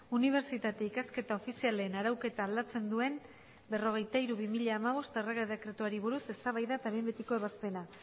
unibertsitate ikasketa ofizialen arauketa aldatzen duen berrogeita hiru barra bi mila hamabost errege dekretuari buruz eztabaida eta behin betiko ebazpena